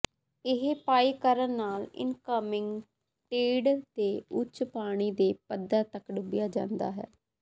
ਇਹ ਪਾਈ ਕਰਨ ਨਾਲ ਇਨਕਮਿੰਗ ਟੀਡ ਦੇ ਉੱਚ ਪਾਣੀ ਦੇ ਪੱਧਰ ਤਕ ਡੁੱਬਿਆ ਜਾਂਦਾ ਹੈ